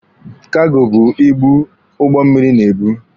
Kago bụ ibu ụgbọ mmịrị na-ebu.